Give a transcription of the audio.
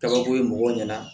Kabako ye mɔgɔw ɲɛna